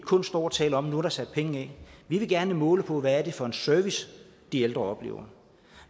kun stå og tale om at nu er der sat penge af vi vil gerne måle på hvad det er for en service de ældre oplever